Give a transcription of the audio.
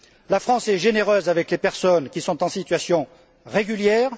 La France est généreuse avec les personnes qui sont en situation régulière.